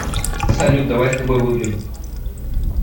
салют давай с тобой выпьем